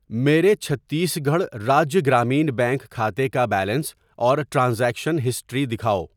میرے Chhattisgarh Rajya Gramin bank کھاتے کا بیلنس اور ٹرانزیکشن ہسٹری دکھاؤ۔